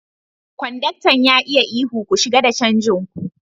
Konduktan ya yi ihu, "Ku shiga da canjin ku!